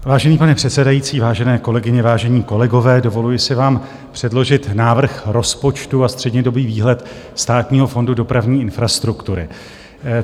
Vážený pane předsedající, vážené kolegyně, vážení kolegové, dovoluji si vám předložit návrh rozpočtu a střednědobý výhled Státního fondu dopravní infrastruktury.